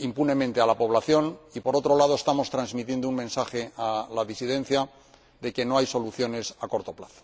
impunemente a la población y, por otro lado, estamos transmitiendo un mensaje a la disidencia de que no hay soluciones a corto plazo.